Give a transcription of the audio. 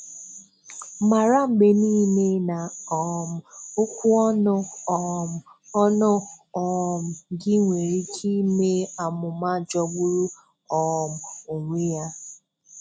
Mara mgbe niile na um okwu ọnụ um ọnụ um gị nwere ike ime amụma jọgburu um onwe ya.